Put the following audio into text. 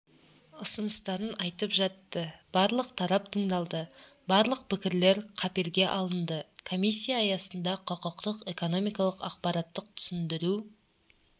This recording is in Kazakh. ұсыныстарын айтып жатты барлық тарап тыңдалды барлық пікірлер қаперге алынды комиссия аясында құқықтық экономикалық ақпараттық-түсіндіру